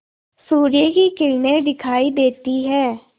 सूर्य की किरणें दिखाई देती हैं